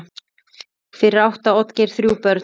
Fyrir átti Oddgeir þrjú börn.